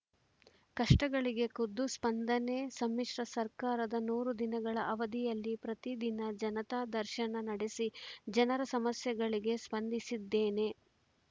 ಕಷ್ಟಗಳಿಗೆ ಖುದ್ದು ಸ್ಪಂದನೆ ಸಮ್ಮಿಶ್ರ ಸರ್ಕಾರದ ನೂರು ದಿನಗಳ ಅವಧಿಯಲ್ಲಿ ಪ್ರತಿ ದಿನ ಜನತಾ ದರ್ಶನ ನಡೆಸಿ ಜನರ ಸಮಸ್ಯೆಗಳಿಗೆ ಸ್ಪಂದಿಸಿದ್ದೇನೆ